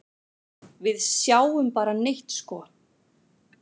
Við sjáum bara neitt sko.